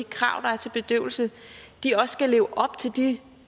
krav der er til bedøvelse også lever op til de